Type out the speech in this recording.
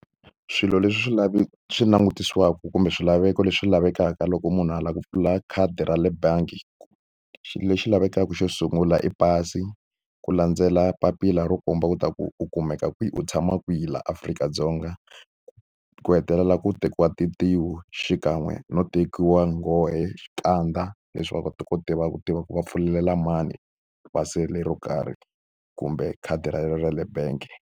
Swilo leswi swi lave swi langutiweke kumbe swilaveko leswi lavekaka loko munhu a lava ku pfula khadi ra le bangi ku xilo lexi lavekaka xo sungula i pasi ku landzela papila ro komba ku ta ku u kumeka kwihi u tshama kwihi laha Afrika-Dzonga ku ku hetelela ku tekiwa tintiho xikan'we no tekiwa nghohe xikandza leswi va kota ku tiva ku tiva ku va pfulelela mani ro karhi kumbe khadi ra yena ra le bank.